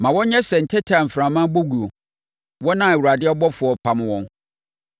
Ma wɔnyɛ sɛ ntɛtɛ a mframa bɔ guo wɔn a Awurade ɔbɔfoɔ repam wɔn.